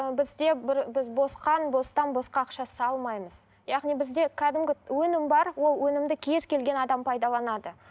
ы бізде бір біз бостан босқа ақша салмаймыз яғни бізде кәдімгі өнім бар ол өнімді кез келген адам пайдаланады